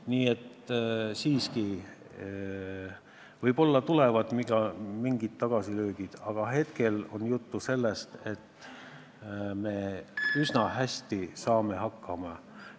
Nii et võib-olla tulevad mingid tagasilöögid, aga praegu on juttu sellest, et me saame üsna hästi hakkama.